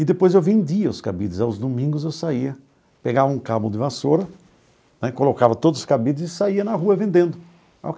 E depois eu vendia os cabides, aos domingos eu saía, pegava um cabo de vassoura né, colocava todos os cabides e saía na rua vendendo.